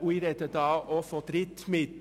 Ich spreche hier auch von Drittmitteln.